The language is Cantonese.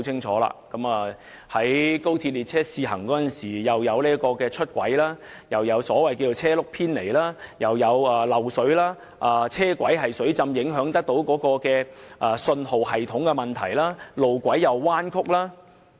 在高鐵列車試行時，不單發生出軌事件，亦出現車輪偏離的情況，更有漏水、車軌水浸影響信號系統及路軌彎曲等問題。